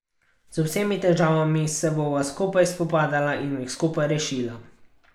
Z vsemi težavami se bova skupaj spopadala in jih skupaj rešila.